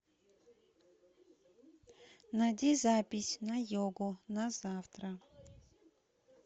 найди запись на йогу на завтра